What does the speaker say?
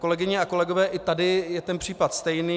Kolegyně a kolegové, i tady je ten případ stejný.